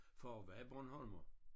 Far var bornholmer